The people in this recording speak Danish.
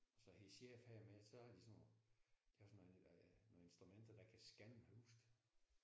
Så hendes chef han er med så har de sådan nogle de har sådan nogle nogle instrumenter der kan skanne huset